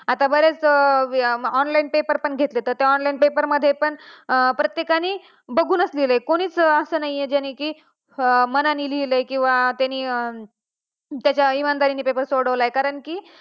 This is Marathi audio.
आता बरेच online paper पण घेतले जातात. आता online paper मध्ये पण प्रत्येकानी बघूनच लिहायलं कुणीच असं नाही कि ज्यांनी की मनाने लिहलय किंवा त्यांनी इमानदारी ने paper सोडवलाय कारण की,